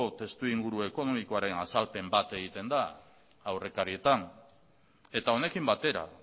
testu inguru ekonomikoaren azalpen bat egiten da aurrekarietan eta honekin batera